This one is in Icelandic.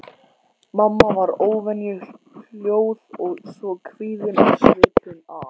Mamma var óvenju hljóð og svo kvíðin á svipinn að